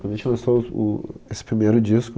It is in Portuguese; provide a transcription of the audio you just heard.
Quando a gente lançou o, o esse primeiro disco,